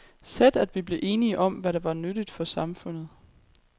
Sæt, at vi blev enige om, hvad der var nyttigt for samfundet.